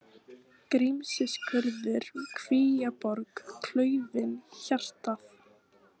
Grímsskurður, Kvíaborg, Klaufin, Hjartað